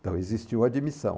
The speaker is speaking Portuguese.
Então existiu admissão.